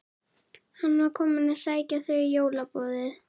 Hann var kominn að sækja þau í jólaboðið.